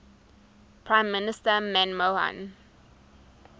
prime minister manmohan